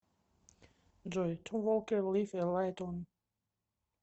джой том волкер лив э лайт он